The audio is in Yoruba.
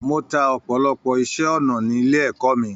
Mó tá ọpọlọpọ iṣẹ ọnà nílé ẹ̀kọ́ mí.